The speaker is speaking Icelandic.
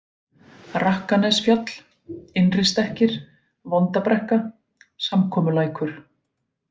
Rakkanesfjall, Innristekkir, Vondabrekka, Samkomulækur